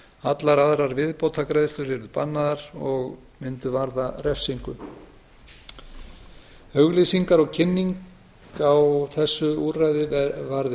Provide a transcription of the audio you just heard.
allar aðrar viðbótargreiðslur verði bannaðar og mundu varða refsingu auglýsingar og kynning á þessu úrræði varði